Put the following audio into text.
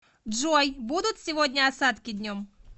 джой будут сегодня осадки днем